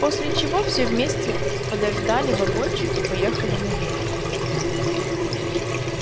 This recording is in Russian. после чего все вместе подождали вагончик и поехали наверх